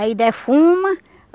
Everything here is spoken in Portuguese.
Aí defuma.